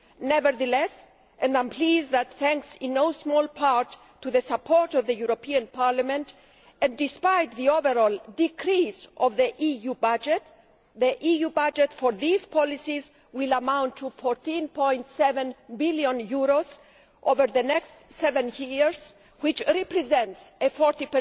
Nevertheless and I am pleased that this is due in no small part to the support of the European Parliament despite the overall decrease in the EU budget, the EU budget for these policies will amount to EUR 14.7 billion over the next seven years, which represents a 40